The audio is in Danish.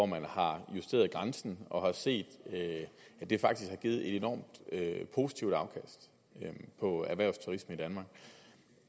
man har justeret grænsen og har set at det faktisk har givet et enormt positivt afkast for erhvervsturismen